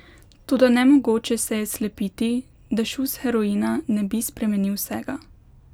Toda nemogoče se je slepiti, da šus heroina ne bi spremenil vsega.